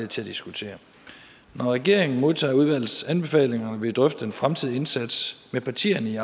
til at diskutere når regeringen modtager udvalgets anbefalinger vil vi drøfte den fremtidige indsats med partierne i